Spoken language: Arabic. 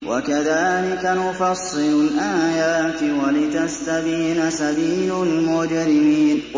وَكَذَٰلِكَ نُفَصِّلُ الْآيَاتِ وَلِتَسْتَبِينَ سَبِيلُ الْمُجْرِمِينَ